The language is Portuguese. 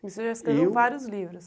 Você já escreveu vários livros.